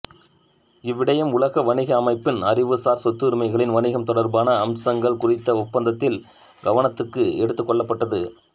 இவ்விடயம் உலக வணிக அமைப்பின் அறிவுசார் சொத்துரிமைகளின் வணிகம் தொடர்பான அம்சங்கள் குறித்த ஒப்பந்தத்தில் கவனத்துக்கு எடுத்துக்கொள்ளப்பட்டது